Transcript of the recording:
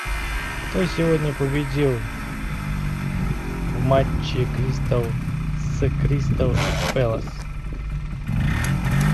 кто сегодня победил в матче кристал с кристал пэлас